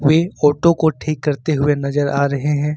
वे photo को ठीक करते हुए नजर आ रहे हैं।